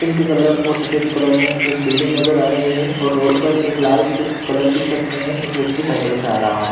Pink colour और सफ़ेद colour में एक बिल्डिंग नजर आ रही हैं और रोड पर एक लाल कलर की शर्ट पहने एक व्यक्ति सायकल से आ रहा है।